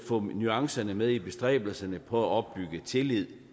få nuancerne med i bestræbelserne på at opbygge tillid